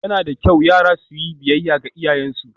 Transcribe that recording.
Yana da kyau yara su yi biyayya ga iyayensu